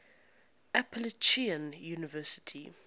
appalachian state university